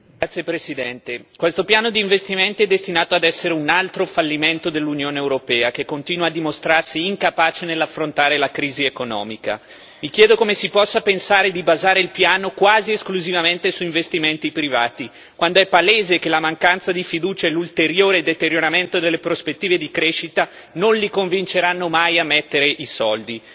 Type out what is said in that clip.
Signor Presidente, onorevoli colleghi, questo piano di investimenti è destinato ad essere un altro fallimento dell'Unione europea che, continua a dimostrarsi incapace di affrontare la crisi economica. Vi chiedo come si possa pensare di basare il piano quasi esclusivamente su investimenti privati, quando è palese che la mancanza di fiducia e l'ulteriore deterioramento delle prospettive di crescita non li convinceranno mai a mettere i soldi.